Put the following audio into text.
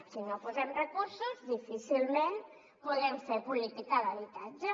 si no hi posem recursos difícilment podrem fer política d’habitatge